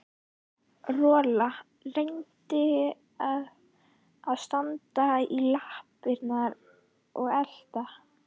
Rola reyndi að standa í lappirnar og elta